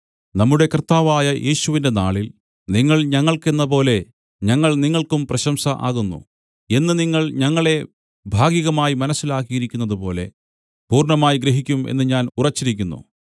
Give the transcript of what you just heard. നമ്മുടെ കർത്താവായ യേശുവിന്റെ നാളിൽ നിങ്ങൾ ഞങ്ങൾക്ക് എന്നപോലെ ഞങ്ങൾ നിങ്ങൾക്കും പ്രശംസ ആകുന്നു എന്ന് നിങ്ങൾ ഞങ്ങളെ ഭാഗികമായി മനസ്സിലാക്കിയിരിക്കുന്നതുപോലെ പൂർണ്ണമായി ഗ്രഹിക്കും എന്ന് ഞാൻ ഉറച്ചിരിക്കുന്നു